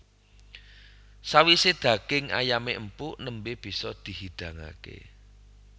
Sawisé daging ayamé empuk nembé bisa dihidangaké